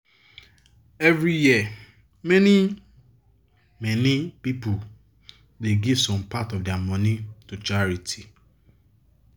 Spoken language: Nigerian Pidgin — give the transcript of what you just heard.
every year many-many people dey give some part of dia money to charity.